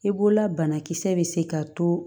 I bolola banakisɛ bɛ se ka to